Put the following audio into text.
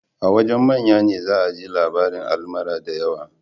A wajen manya ne za a ji labarin almara da yawa